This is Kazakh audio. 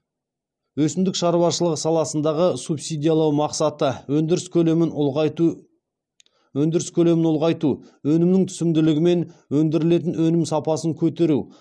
өсімдік шаруашылығы саласындағы субсидиялау мақсаты өндіріс көлемін ұлғайту өнімнің түсімділігі мен өндірілетін өнім сапасын көтеру